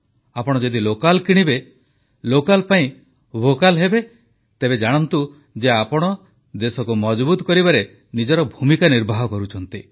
ଆପଣ ଯଦି ଲୋକାଲ ଜିନିଷ କିଣିବେ ଲୋକାଲ ପାଇଁ ଭୋକାଲ ହେବେ ତେବେ ଜାଣନ୍ତୁ ଯେ ଆପଣ ଦେଶକୁ ମଜବୁତ କରିବାରେ ନିଜର ଭୂମିକା ନିର୍ବାହ କରୁଛନ୍ତି